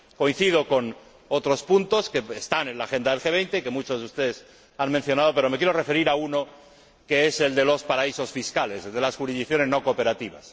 Coincido con otros puntos que están en la agenda del G 20 y que muchos de ustedes han mencionado, pero me quiero referir a uno, que es el de los paraísos fiscales, el de las jurisdicciones no cooperativas.